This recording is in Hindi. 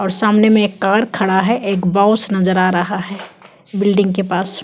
और सामने में एक कार खड़ा है एक बॉस नज़र आ रहा हैं बिल्डिंग के पास--